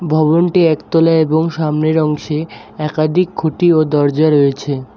ভবনটি একতলা এবং সামনের অংশে একাধিক খুঁটি ও দরজা রয়েছে।